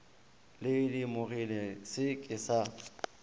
di lemogilego se se ka